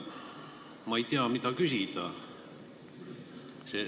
Ma ei tea, mida küsida.